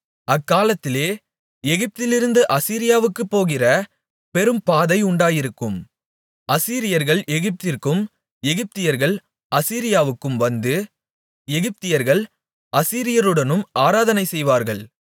அக்காலத்திலே எகிப்திலிருந்து அசீரியாவுக்குப் போகிற பெரும்பாதை உண்டாயிருக்கும் அசீரியர்கள் எகிப்திற்கும் எகிப்தியர்கள் அசீரியாவுக்கும் வந்து எகிப்தியர்கள் அசீரியருடன் ஆராதனை செய்வார்கள்